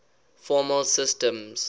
formal systems